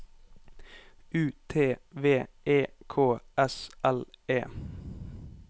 U T V E K S L E